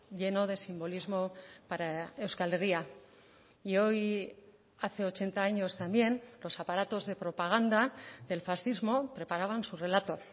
lleno de simbolismo para euskal herria y hoy hace ochenta años también los aparatos de propaganda del fascismo preparaban su relato